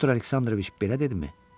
Pyotr Aleksandroviç belə dedimi?